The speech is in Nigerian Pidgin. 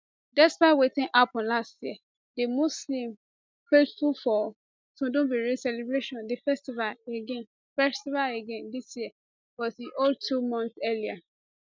despite wetin happun last year di muslim faithful for tudunbiri celebrate di festival again festival again dis year but e hold two months earlier